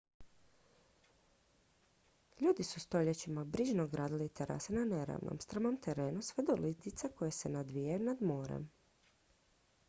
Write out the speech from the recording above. ljudi su stoljećima brižno gradili terase na neravnom strmom terenu sve do litica koje se nadvijaju nad morem